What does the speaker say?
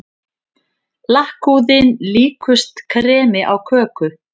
Lakkhúðin líkust kremi á köku.